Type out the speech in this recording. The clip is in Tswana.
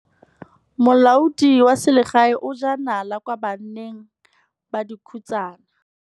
Molaodi wa selegae o jaa nala kwa baneng ba dikhutsana.